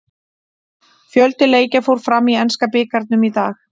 Fjöldi leikja fór fram í enska bikarnum í dag.